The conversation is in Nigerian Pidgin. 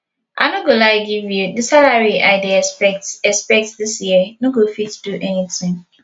i no go lie give you the salary i dey expect expect dis year no go fit do anything